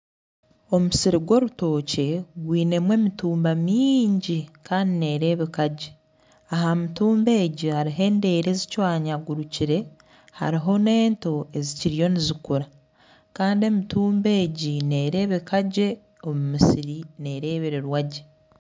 Omusiri gw'orutookye gwinemu emitumba mingi kandi neerebeka gye aha mitumba egyo hariho endere ezicwanyagurukire hariho n'ento ezikiriyo nizikura Kandi emitumba egi nerebeka gye omu musiri nerebererwagye.